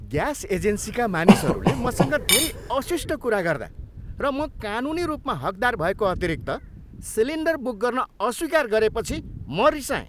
Gas एजेन्सीका मानिसहरूले मसँग धेरै अशिष्ट कुरा गर्दा र म कानुनी रूपमा हकदार भएको अतिरिक्त सिलिन्डर बुक गर्न अस्वीकार गरेपछि म रिसाएँ।